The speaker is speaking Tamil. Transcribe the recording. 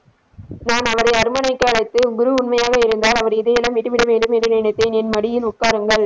நாம் அவரை அரண்மனைக்கு அழைத்து குரு உண்மையாக இருந்தால் அவரை இதையெல்லாம் விட்டுவிட வேண்டும் என்று நினைத்தேன் எனது மடியில் உட்காருங்கள்.